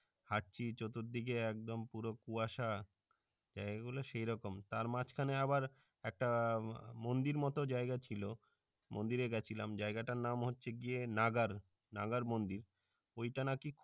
হাঁটছি আর চতুর্দিকে একদম পুরো কুয়াশা এগুলো সেরকম তার মাঝখানে আবার একটা মন্দির মতো জাইগা ছিল মন্দিরে গেছিলাম জায়গাটার নাম হচ্ছে কিয়ে nagar nagar মন্দির ওইটা নাকি